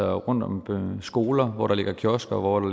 rundt om skoler hvor der ligger kiosker og